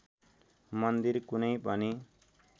मन्दिर कुनै पनि